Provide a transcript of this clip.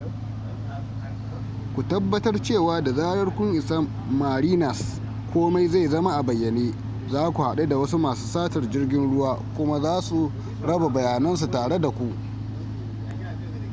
ku tabbatar cewa da zarar kun isa marinas komai zai zama a bayyane za ku haɗu da wasu masu satar jirgin ruwa kuma za su raba bayanansu tare da ku